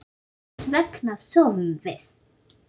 Hvers vegna sofum við?